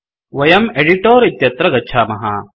वयं एडिटर इत्यत्र गच्छामः